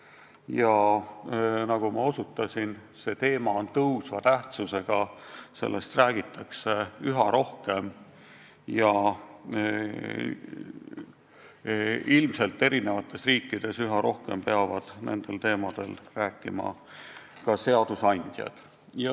Ja nagu ma osutasin, see teema on suureneva tähtsusega, sellest räägitakse üha rohkem ja ilmselt peavad eri riikides üha rohkem nendel teemadel rääkima ka seadusandjad.